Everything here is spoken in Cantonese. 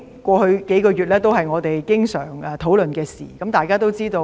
過去數個月，我們經常討論孟晚舟案。